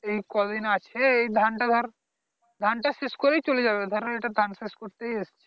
এই কদিন আছে এই ধান টা ধর ধান টা শেষ করেই চলে যাবে ধরো এটা ধান শেষ করতেই এসেছে